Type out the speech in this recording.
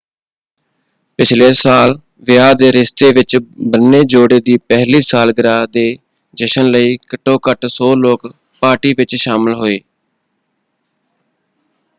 ਪਿਛਲੇ ਸਾਲ ਵਿਆਹ ਦੇ ਰਿਸ਼ਤੇ ਵਿੱਚ ਬੰਨੇ ਜੋੜੇ ਦੀ ਪਹਿਲੀ ਸਾਲਗਿਰਾਹ ਦੇ ਜਸ਼ਨ ਲਈ ਘੱਟੋ ਘੱਟ 100 ਲੋਕ ਪਾਰਟੀ ਵਿੱਚ ਸ਼ਾਮਲ ਹੋਏ।